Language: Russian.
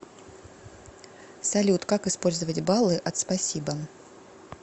салют как использовать баллы от спасибо